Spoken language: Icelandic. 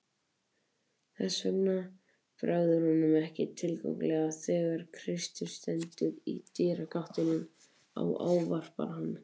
Þess vegna bregður honum ekki tiltakanlega þegar Kristur stendur í dyragættinni og ávarpar hann.